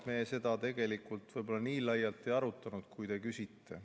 Me tegelikult seda võib-olla nii laialt ei arutanud, kui te küsite.